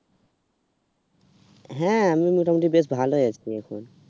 হ্যাঁ, আমি মোটামুটি বেশ ভালো আছি এখন।